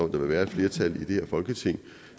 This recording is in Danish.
vil være et flertal i det her folketing